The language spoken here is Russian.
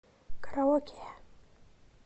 караоке